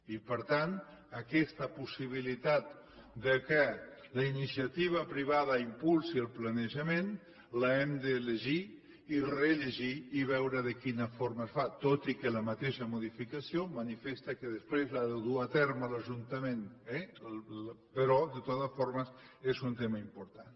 i per tant aquesta possibilitat que la iniciativa privada impulsi el planejament l’hem de llegir i rellegir i veure de quina forma es fa tot i que la mateixa modificació manifesta que després l’ha de dur a terme l’ajuntament eh però de totes formes és un tema important